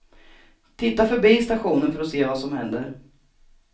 Titta förbi stationen för att se vad som händer.